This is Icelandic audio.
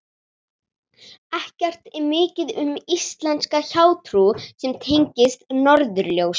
Ekki er mikið um íslenska hjátrú sem tengist norðurljósum.